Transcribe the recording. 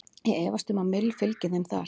Ég efast um að Mill fylgi þeim þar.